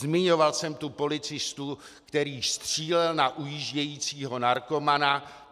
Zmiňoval jsem tu policistu, který střílel na ujíždějícího narkomana.